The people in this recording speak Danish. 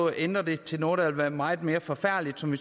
ændre det til noget der vil være meget mere forfærdeligt som